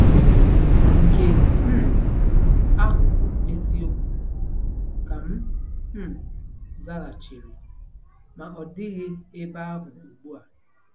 Nke um ahụ bụ eziokwu, ka m um zaghachiri, " ma ọ dịghị ebe ahụ ugbu a ."